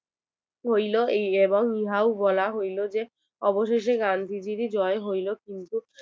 হইলো এবং ইহাও বলা হইলো যে অবশেষে গান্ধীজির এ জয় হইলো কিন্তু